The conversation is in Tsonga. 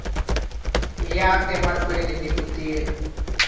ya emahlweni ni ku tirha